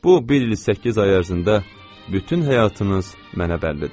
Bu bir il səkkiz ay ərzində bütün həyatınız mənə bəllidir.